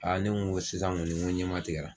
ne ko n ko sisan kɔni n ko ɲɛmatigɛra